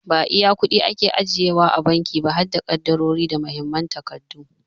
Ba zallar kuɗi ake ajiye wa a banki ba harda ƙadarori da Muhimman takardu.